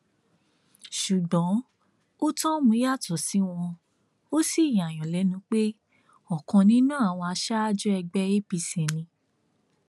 ṣùgbọn otorm yàtọ sí wọn ò sì yààyàn lẹnu pé ọkan nínú àwọn aṣáájú ẹgbẹ apc ni